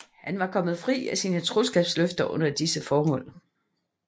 Han var kommet fri af sine troskabsløfter under disse forhold